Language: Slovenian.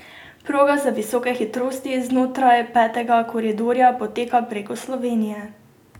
Proga za visoke hitrosti znotraj petega koridorja poteka preko Slovenije.